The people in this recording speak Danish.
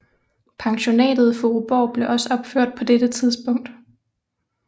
Pensionatet Furuborg blev også opført på dette tidspunkt